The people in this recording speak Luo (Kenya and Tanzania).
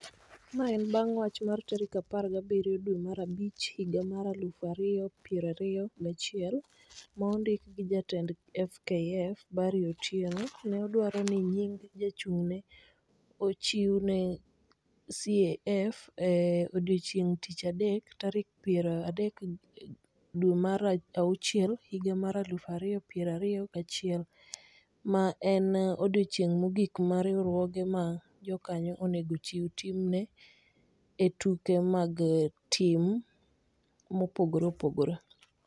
Ma en bang' wach mar tarik apar gabirio dwe mar abich higa mar alufu ario piero ario gachiel, ma ondiki gi jatend FKF, Barry Otieno ne dwaro ni nying (jachung'ne) ochiw ne CAF e odiechieng' tich adek, tarik piero adek dwe mar auchiel higa mar alufu ario piero ario gachiel, ma en odiechieng' mogik ma riwruoge ma jokanyo onego ochiw timne e tuke mag tim mopogore opogore.